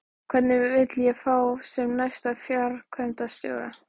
Hvern vil ég fá sem næsta framkvæmdastjóra?